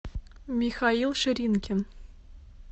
михаил ширинкин